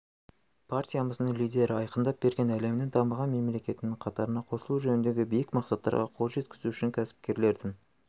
партиямыздың лидері айқындап берген әлемнің дамыған мемлекетінің қатарына қосылу жөніндегі биік мақсаттарға қол жеткізу үшін кәсіпкерлердің